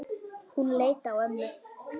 Hún leit á ömmu.